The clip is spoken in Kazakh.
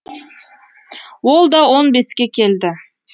ол да он беске келді